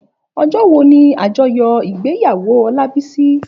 Òjò wó ni ájòyò igbéyàwó Olabisi?